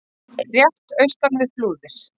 rétt austan við Flúðir.